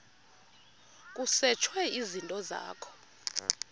kusetshwe izinto zakho